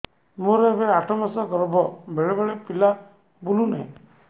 ମୋର ଏବେ ଆଠ ମାସ ଗର୍ଭ ବେଳେ ବେଳେ ପିଲା ବୁଲୁ ନାହିଁ